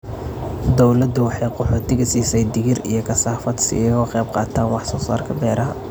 Dawladdu waxay qaxootiga siisay digir iyo kasaafada si ay uga qayb qaataan wax soo saarka beeraha.